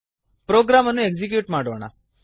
program ಅನ್ನು execute ಮಾಡೋಣ